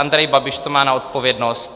Andrej Babiš to má na odpovědnost.